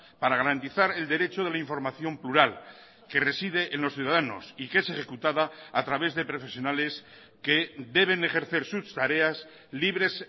para garantizar el derecho de la información plural que reside en los ciudadanos y que es ejecutada a través de profesionales que deben ejercer sus tareas libres